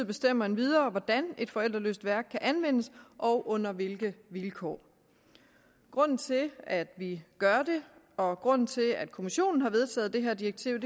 bestemmer endvidere hvordan et forældreløst værk kan anvendes og under hvilke vilkår grunden til at vi gør det og grunden til at kommissionen har vedtaget det her direktiv